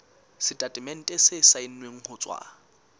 setatemente se saennweng ho tswa